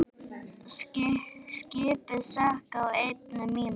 Skipið sökk á einni mínútu.